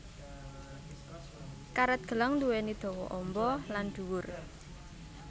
Karet gelang duwéni dawa amba lan dhuwur